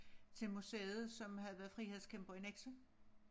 Til museet som havde været frihedskæmper i Nexø